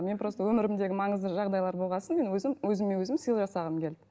мен просто өмірімдегі маңызды жағдайлар болған соң мен өзім өзіме өзім сыйлық жасағым келді